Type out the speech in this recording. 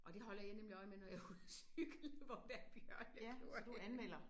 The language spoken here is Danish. Og det holder jeg nemlig øje med når jeg er ude at cykle hvor der er bjørnekloer henne